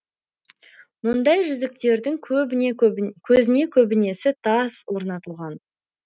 мұндай жүзіктердің көзіне көбінесе тас орнатылған